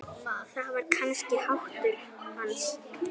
Það var kannski háttur hans.